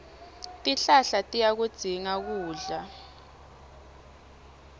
tihlahla tiyakudzinga kudla